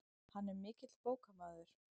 Hann er mikill bókamaður.